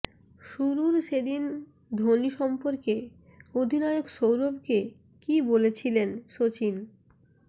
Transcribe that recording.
শুরুর সেদিন ধোনি সম্পর্কে অধিনায়ক সৌরভকে কী বলেছিলেন সচিন